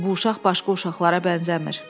"Bu uşaq başqa uşaqlara bənzəmir."